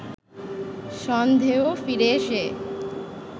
সন্ধেয় ফিরে এসে